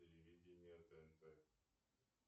телевидение тнт